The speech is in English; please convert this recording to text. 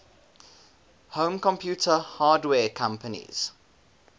home computer hardware companies